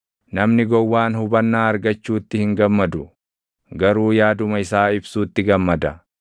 Namni gowwaan hubannaa argachuutti hin gammadu; garuu yaaduma isaa ibsuutti gammada.